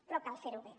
però cal fer ho bé